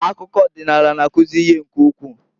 Akụkọ ọdịnaala na-akuzi ihe nke ukwu.